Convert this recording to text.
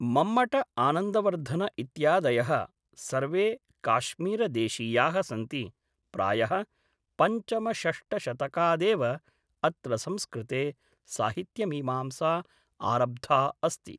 मम्मट आनन्दवर्धन इत्यादयः सर्वे काश्मीरदेशीयाः सन्ति प्रायः पञ्चमषष्टशतकादेव अत्र संस्कृते साहित्यमीमांसा आरब्धा अस्ति